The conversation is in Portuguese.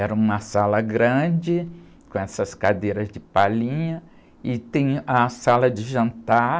Era uma sala grande, com essas cadeiras de palhinha, e tem a sala de jantar,